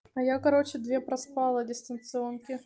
а я короче две проспала дистанционки